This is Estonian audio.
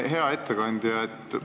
Hea ettekandja!